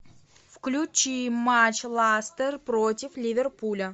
включи матч лестер против ливерпуля